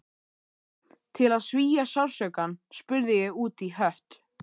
Til að svía sársaukann spurði ég útí hött